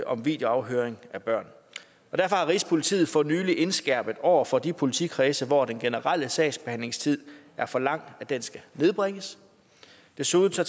om videoafhøring af børn derfor har rigspolitiet for nylig indskærpet over for de politikredse hvor den generelle sagsbehandlingstid er for lang at den skal nedbringes desuden tager